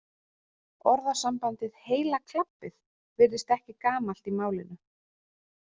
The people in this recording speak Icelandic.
Orðasambandið heila klabbið virðist ekki gamalt í málinu.